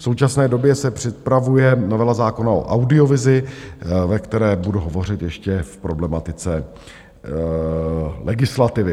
V současné době se připravuje novela zákona o audiovizi, ve které budu hovořit ještě v problematice legislativy.